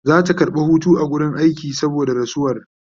Zata karɓa Hutu a wurin aiki saboda rasuwar